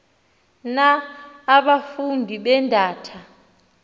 na abafundi beendata